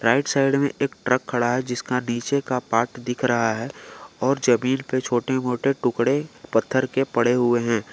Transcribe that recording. Right side में एक truck खड़ा है जिसका नीचे का पार्ट दिख रहा है और जमीन पर छोटे मोटे टुकड़े पत्थर के पड़े हुए हैं।